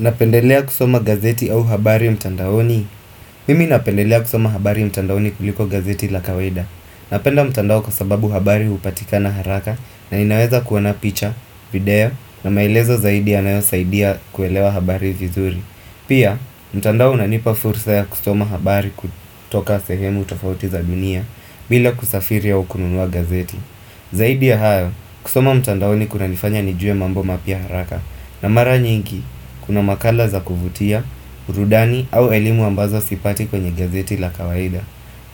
Napendelea kusoma gazeti au habari mtandaoni Mimi napendelea kusoma habari mtandaoni kuliko gazeti la kawaida Napenda mtandao kwa sababu habari hupatikana haraka na inaweza kuona picha, video na maelezo zaidi yanayo saidia kuelewa habari vizuri Pia, mtandao unanipa fursa ya kusoma habari kutoka sehemu tofauti za dunia bila kusafiri au kununua gazeti Zaidi ya hayo, kusoma mtandaoni kuna nifanya nijue mambo mapya haraka na mara nyingi, kuna makala za kuvutia, burudani au elimu ambazo sipati kwenye gazeti la kawaida